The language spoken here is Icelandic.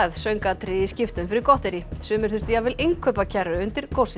söngatriði í skiptum fyrir gotterí sumir þurftu jafnvel innkaupakerru undir